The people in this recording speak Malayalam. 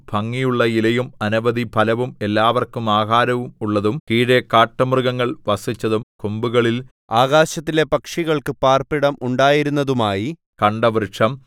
ഭംഗിയുള്ള ഇലയും അനവധി ഫലവും എല്ലാവർക്കും ആഹാരവും ഉള്ളതും കീഴെ കാട്ടുമൃഗങ്ങൾ വസിച്ചതും കൊമ്പുകളിൽ ആകാശത്തിലെ പക്ഷികൾക്ക് പാർപ്പിടം ഉണ്ടായിരുന്നതുമായി കണ്ട വൃക്ഷം